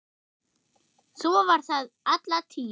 Svo var það alla tíð.